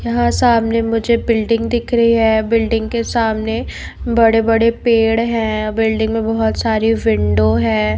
यहाँ सामने मुझे बिल्डिंग दिख रही है बिल्डिंग के सामने बड़े बड़े पेड़ है बिल्डिंग मे बहुत सारी विंडो है।